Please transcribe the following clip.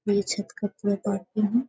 मेरे छत का पूरा पाटना है।